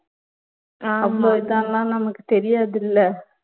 நமக்கு தெரியாதுல்ல